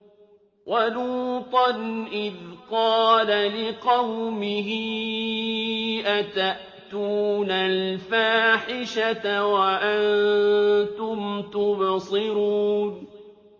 وَلُوطًا إِذْ قَالَ لِقَوْمِهِ أَتَأْتُونَ الْفَاحِشَةَ وَأَنتُمْ تُبْصِرُونَ